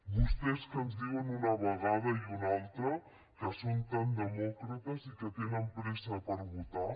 vostès que ens diuen una vegada i una altra que són tan demòcrates i que tenen pressa per votar